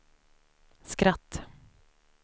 skratt